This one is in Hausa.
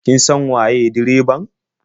Kin san waye direban?